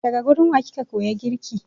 Daga gurin wa kika koyi girki?